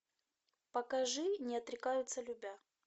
покажи не отрекаются любя